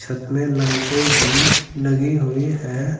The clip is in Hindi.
इसमें लाइटें भी लगी हुई है।